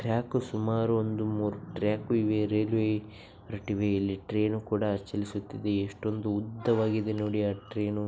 Track ಸುಮಾರು ಒಂದು ಮೂರು ಟ್ರಾಕ್ ಇವೇ. ರೈಲ್ವೆ ಟ್ರೈನ್ ಕೂಡ ಚಳಿಸುತಿದೆ. ಎಷ್ಟೊಂದು ಉದ್ದವಾಗಿ ಇದೆ ನೋಡಿ ಆ ಟ್ರೈನ್ .